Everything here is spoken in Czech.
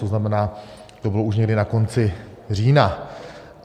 To znamená, to bylo už někdy na konci října.